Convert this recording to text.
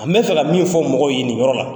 An bɛ fɛ ka min fɔ mɔgɔw ye nin yɔrɔ la,